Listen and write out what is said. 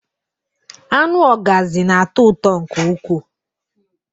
Anụ Ọgazị na-atọ ụtọ nke ukwuu